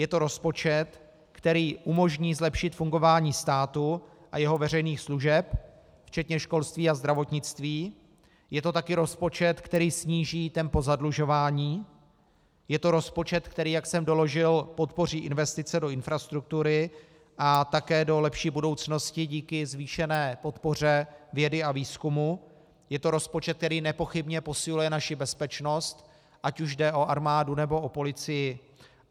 Je to rozpočet, který umožní zlepšit fungování státu a jeho veřejných služeb včetně školství a zdravotnictví, je to také rozpočet, který sníží tempo zadlužování, je to rozpočet, který, jak jsem doložil, podpoří investice do infrastruktury a také do lepší budoucnosti díky zvýšené podpoře vědy a výzkumu, je to rozpočet, který nepochybně posiluje naši bezpečnost, ať už jde o armádu, nebo o policii.